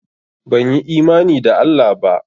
Banyi imani da Allah ba?